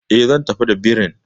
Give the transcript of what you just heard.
E, zan tafi da birin.